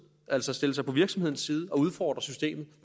altså stille sig på virksomhedens side og udfordre systemets